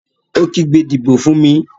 Ó kígbe, "Dìbò fún mi!"